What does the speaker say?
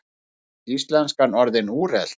Er íslenskan orðin úrelt?